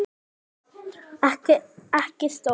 Ekki stór.